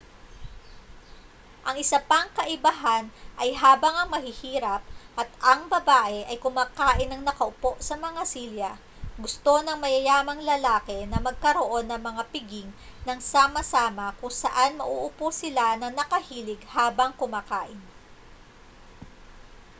ang isa pang kaibahan ay habang ang mahihirap at ang babae ay kumakain nang nakaupo sa mga silya gusto ng mayayamang lalaki na magkaroon ng mga piging nang sama-sama kung saan mauupo sila nang nakahilig habang kumakain